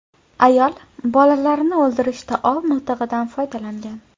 Ayol bolalarini o‘ldirishda ov miltig‘idan foydalangan.